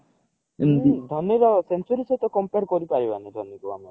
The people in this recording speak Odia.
ଧୋନୀ ର century ସହିତ compare କରିପାରିବାନି ଧୋନୀ କୁ ଆମେ